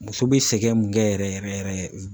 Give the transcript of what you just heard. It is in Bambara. Muso be sɛgɛn min kɛ yɛrɛ yɛrɛ